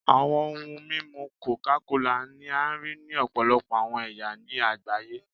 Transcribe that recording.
Awọn ohun mimu coca kola ni a rii ni ọpọlọpọ awọn ẹya ni agbaye